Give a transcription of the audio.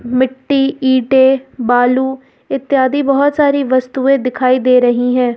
मिट्टी ईंटे बालू इत्यादि बहुत सारी वस्तुएं दिखाई दे रही हैं।